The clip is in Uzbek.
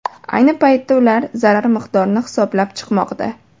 Ayni paytda ular zarar miqdorini hisoblab chiqmoqda.